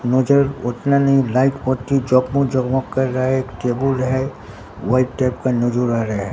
नजर उतना नहीं लाइट बोत्ती जगमग-जगमग कर रहा है एक टेबुल है व्हाइट टाइप का नजर आ रहा है।